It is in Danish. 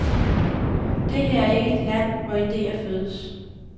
Det her er ikke et land, hvor ideer fødes.